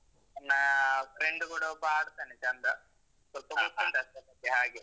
ನನ್ನ friend ಕೂಡ ಒಬ್ಬ ಆಡ್ತಾನೆ ಚೆಂದ. ಸ್ವಲ್ಪ ಮತ್ತೆ ಹಾಗೆ.